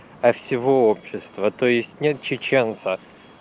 а всего общества то есть нет чеченца